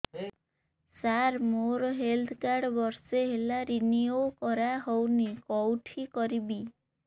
ସାର ମୋର health card ବର୍ଷେ ହେଲା ରିନିଓ କରା ହଉନି କଉଠି କରିବି